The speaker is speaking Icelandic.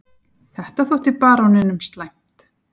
Þetta þótti baróninum slæmt.